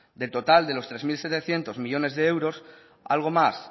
del total de los tres mil setecientos millónes de euros algo más